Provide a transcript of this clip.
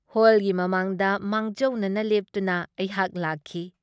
ꯍꯣꯜꯒꯤ ꯃꯃꯥꯡꯗ ꯃꯥꯡꯖꯧꯅꯅ ꯂꯦꯞꯇꯨꯅ ꯑꯩꯍꯥꯛ ꯂꯥꯛꯈꯤ ꯫